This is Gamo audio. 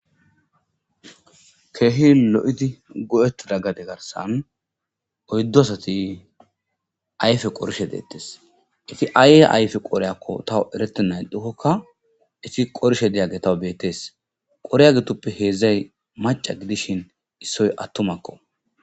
Kehi lo'idi goyetiza gaden garisan oyidu asati ayipe qorishedetes eti ayiayipe qoreykoka tawu eretenaixikoka eti qorishe daygey tawu betes qoray getupe hezay maca gidishin issoy atumako